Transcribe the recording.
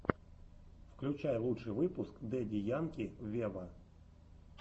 включай лучший выпуск дэдди янки вево